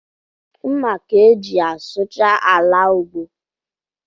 Mma ka-eji asụcha ala ugbo